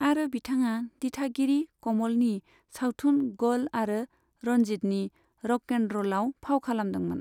आरो बिथाङा दिथागिरि कमलनि सावथुन ग'ल आरो रनजीतनि र'क एन्ड र'लआव फाव खालामदोंमोन।